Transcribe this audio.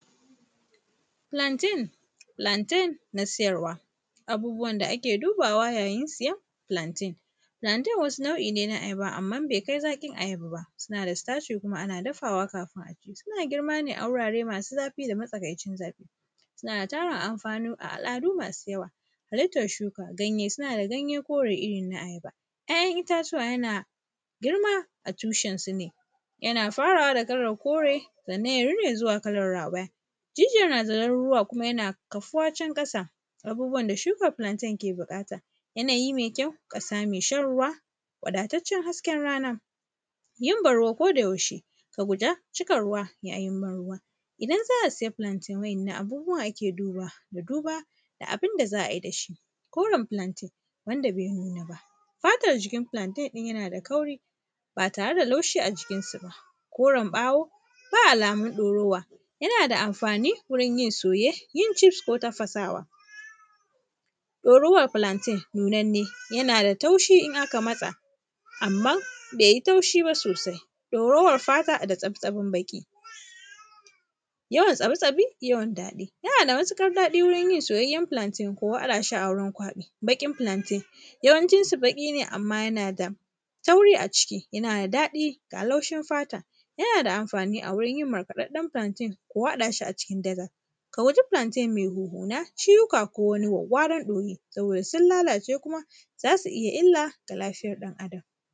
Plantain, plantain na siyarwa. Abubuwan da ake dubawa yayin siyan plantain. Plantain wasu nau’i ne na ayaba amman bai kai zaƙin ayaba ba suna da staci kuma ana dafawa kafin a ci. Suna girma ne a wurare masu zafi da matsakaicin zafi. Suna da tarin alfanu a al’adu masu yawa, halittar shuka ganye, suna da ganye kore irin na ayaba. ‘Ya’yan itatuwa yana girma a tushen su ne, yana farawa da kalar kore sannan ya rine zuwa kalar rawaya. Jijiyar na da zarurruwa kuma kafuwa can ƙasa. Abubuwan da shukar plantain ke buƙata yanayi mai kyau, ƙasa mai shan ruwa, wadataccen hasken rana yin ban-ruwa koda yaushe ka guda cika ruwa yayin ban ruwa. Idan za a sai plantain wa’innan abubuwan ake dubawa da duba da abin da za a yi da shi. Koren plantain wanda bai nuna ba fatar jikin plantain ɗin yana da kauri ba tare da laushi a jikin sa ba, koren ɓawo ba alamun ɗorawa yana da amfani wajen yin soye yin chips ko tafasawa. Ɗorawar plantain nunanne yana da taushi idan aka matsa amman bai yi taushi ba sosai ɗorawar fata da tsabtsanin baƙi, yawan tsarotsabi yawan daɗi yana da matuƙar daɗi wurin yin soyayyar plantain ko a haɗa shi a wurin kwaɓi. Baƙin plantain yawancin shi baƙi ne amma yana da tauri a ciki yana da daɗi amma yana da laushin fata yana da amfani a wurin yin markaɗaɗen plantain ko haɗa shi a cikin daga. A guji plantain mai huhuna, ciwuka ko wani wawwaran ɗoyi saboda sun lalace kuma za su iya illa ga lafiyar ɗan’adam.